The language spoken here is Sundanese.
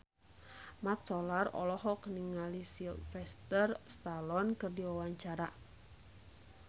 Mat Solar olohok ningali Sylvester Stallone keur diwawancara